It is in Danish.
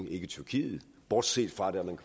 i tyrkiet bortset fra der hvor